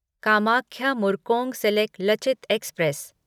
Kamakhya Murkongselek Lachit express